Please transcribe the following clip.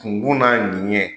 Kungun n'a ɲɛnɲɛn.